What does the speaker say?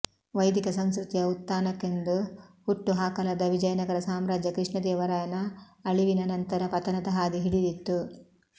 ವೈದಿಕ ಸಂಸ್ಕೃತಿಯ ಉತ್ಥಾನಕ್ಕೆಂದು ಹುಟ್ಟು ಹಾಕಲಾದ ವಿಜಯನಗರ ಸಾಮ್ರಾಜ್ಯ ಕೃಷ್ಣದೇವರಾಯನ ಅಳಿವಿನ ನಂತರ ಪತನದ ಹಾದಿ ಹಿಡಿದಿತ್ತು